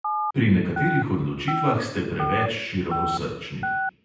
Pri nekaterih odločitvah ste preveč širokosrčni.